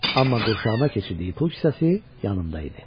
Amma qurşağına keçirdiyi pul kisəsi yanında idi.